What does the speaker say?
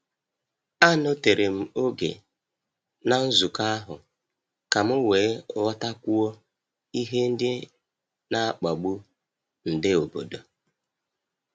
Anọtere m oge na nzukọ ahụ ka m wee ghọtakwuo ihe ndị n'akpagbu nde obodo.